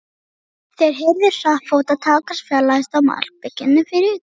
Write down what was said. Þeir heyrðu hratt fótatak hans fjarlægjast á malbikinu fyrir utan.